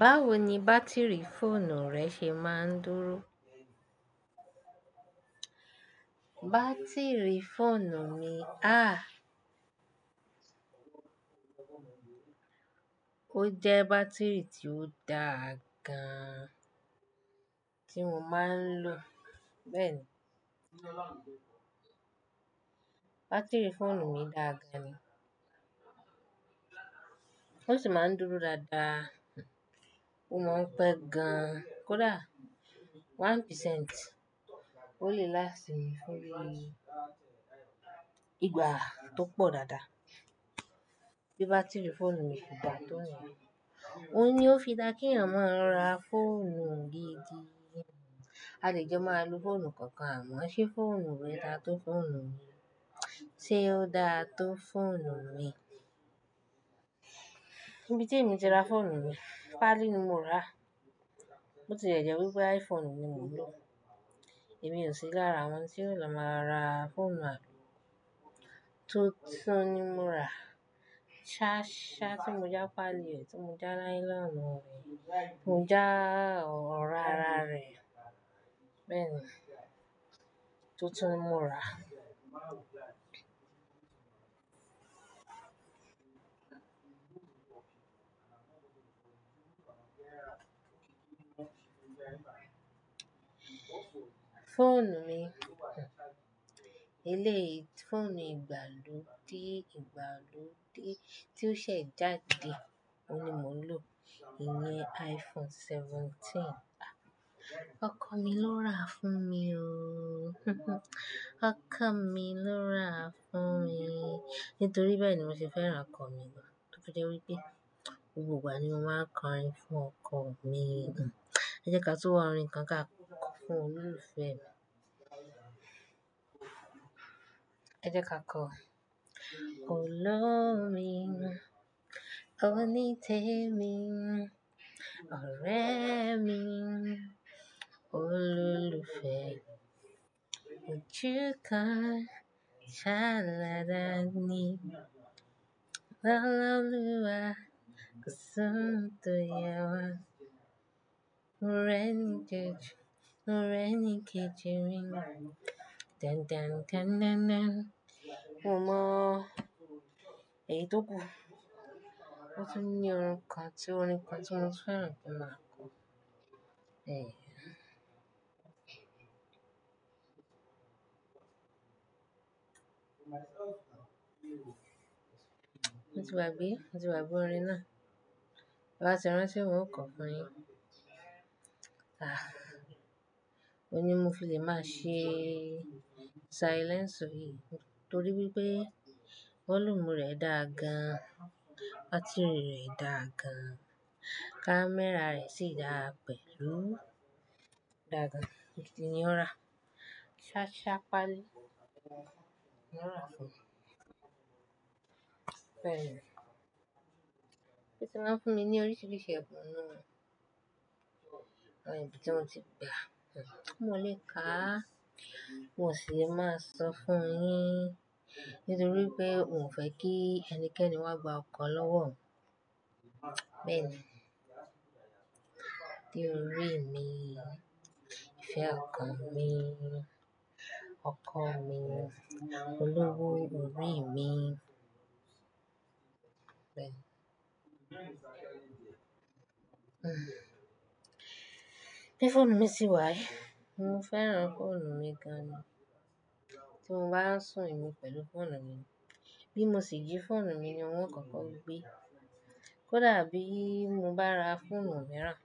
Báwo ni bátìrì fóònù rẹ ṣe máa ń dúró? Bátìrì fóònù mi, a! Ó jẹ́ bátìrì tí ó dáa gan ti mo máa ń lò. Bẹ́ẹ̀ni. Bátìrì fóònù mi dáa gan ni. Ó sì máa ń dúró dáadáa. Mo máa ń pẹ́ gan. Kódà ọ̀kan pasẹ́nti, ó lè lást mi fún igba tó pọ̀ dáadáa. Bí bátìrì fóònù mi kò bá dáa tó ni, òun ni ó fi dá kí èèyàn máa ń ra fóònù gidi. A lè jo máa lo fóònù kankan, àmọ́ ṣe fóònù rẹ dáa tó fóònù mi? Ṣé ó dáa tó fóònù mi? Ibi tí èmi ti ra fóònù mi, Pali ni mo ra. Botilẹ̀jẹ́ wípé iPhone ni mo ń lò. Èmi ò sí lára àwọn tí yóò lọ máa ra fóònù ààrọ̀. Túntún ni mo ra. Ṣá, ṣá tí mo já Pali, ti mo já nylon rẹ̀, mo já ọ̀rá ara rẹ̀. Bẹ́ẹ̀ni, túntún mo ra. Fóònù mi, ilé fóònù ìgbàlódé ìgbàlódé tí ó ṣẹ̀ jáde, òun ni mo ń lò. Ìní iPhone 17. Okọ mi ló ra fún mi o. Okọ mi ló ra fún mi. Nítorí bẹ́ẹ̀ ni mo ṣe fẹ́ràn ọkọ mi gan. Ó ti jẹ́ wípé gbogbo ìgbà ni mo máa ń kọrin fún ọkọ mi. Ẹ jẹ́ ká tú wá orin kan ká kọ fún Olólùfẹ́ mi. Ẹ jẹ́ ká kọ: Olómi, onítèmi, ọ̀rẹ́ mi, olólùfẹ́. Ojúkan ṣáalada ni Lọ́la oluwa, kó sọ̀ún tó ya wá. More ni kéji, mo rẹ́ ni kéjì mi. Tan-tan-tan-tan-tan. Mo mọ, èyí tó kù. Ó ti ní orin kan tí ó ní ipa tí mo fẹ́ràn púpọ̀ máa kọ. Èyí. Ó ti wá bí? Ó ti wá bí orin náà? Rárá, ṣe o rántí pé mo ń kọ fún ẹ? A! Ó ní mo kò lè má ṣe silence òhìí nítorí wípé volume rẹ̀ dáa gan, bátìrì rẹ̀ dáa gan, camera rẹ̀ sì dáa pẹ̀lú. Dáa gan. Nibiti ni ó ra. Ṣá, ṣá Pali ló ra fún mi. Bẹ́ẹ̀ni. Ó ti máa ń fún mi ní oríṣiríṣi ẹ̀bùn náà, ní ibi tí mo ti bẹ. Kí mo lè kà á, n ò sì lè máa sọ fún ẹ ní torí pé òun ò fẹ́ kí ẹnikẹ́ni wá gba ọkọ lọ́wọ́ mi Bẹ́ẹ̀ni. Ade o rí mi, ìfẹ́ ọkọ mi, ọkọ mi, olowo orí mi. Bẹ́ẹ̀ni. Bí fóònù mi sì wà ẹ, mo fẹ́ràn fóònù mi gan ni. Tí mo bá sùn emi pẹ̀lú fóònù mi ni. Bí mo sì jí fóònù mi ni, wọ́n kọ̀ọ̀kan ó gbé. Kódà bí mo bá ra fóònù mìíràn,